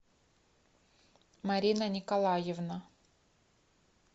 марина николаевна